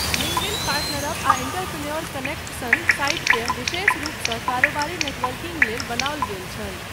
LinkedIn, PartnerUp आ entrepreneur connect सन साइटकेँ विशेष रूपसँ कारोबारी नेटवर्किङ्ग लेल बनाओल गेल छल।